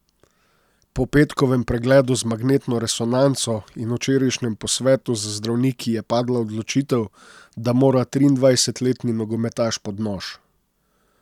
Po petkovem pregledu z magnetno resonanco in včerajšnjem posvetu z zdravniki je padla odločitev, da mora triindvajsetletni nogometaš pod nož.